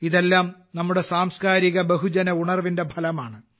ഇതെല്ലാം നമ്മുടെ സാംസ്കാരിക ബഹുജന ഉണർവിന്റെ ഫലമാണ്